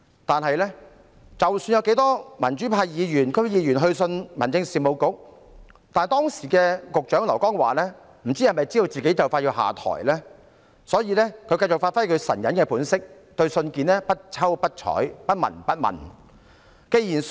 但是，不論有多少民主派議員和區議員去信民政事務局，不知道時任局長劉江華是否因為知悉自己即將下台，所以繼續發揮其"神隱"本色，對信件不瞅不睬、不聞不問。